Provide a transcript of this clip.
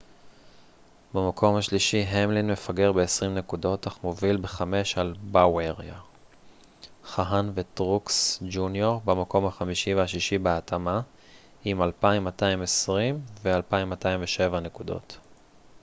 במקום השלישי המלין מפגר בעשרים נקודות אך מוביל בחמש על באוייר חהן וטרוקס ג'וניור במקום החמישי והשישי בהתאמה עם 2,220 ו-2,207 נקודות